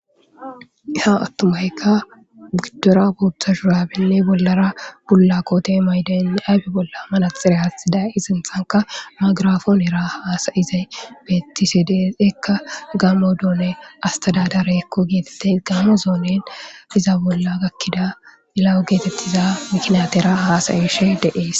Ha attumaykka giddora booththa shurabenne bollara bolla koote maydani ayfe bolla manaxire hatxiday isinthanka magirafoonera haasayizay beettisedes ekka gaamo doone astadadare ekko geetette gaamo zoonen iza bolla gakkida ilawo geetettiza miknatera haasayeshe deees